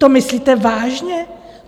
To myslíte vážně?